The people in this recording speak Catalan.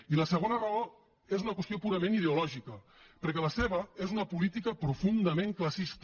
i la segona raó és una qüestió purament ideològica perquè la seva és una política profundament classista